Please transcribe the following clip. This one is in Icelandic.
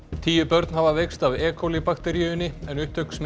tíu börn hafa veikst af e bakteríunni en upptök